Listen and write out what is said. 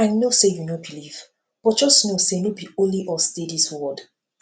i no say you no believe but just know say no be only us dey dis world